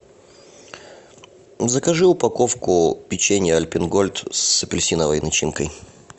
закажи упаковку печенья альпен гольд с апельсиновой начинкой